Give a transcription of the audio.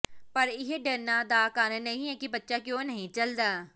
ਪਰ ਇਹ ਡਰਨਾ ਦਾ ਕਾਰਨ ਨਹੀਂ ਹੈ ਕਿ ਬੱਚਾ ਕਿਉਂ ਨਹੀਂ ਚੱਲਦਾ